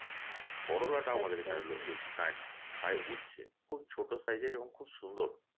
করলাটা আমাদের এখানে বেশি লোক খায়না খায় উচ্ছে খুব ছোট size এর এবং খুব সুন্দর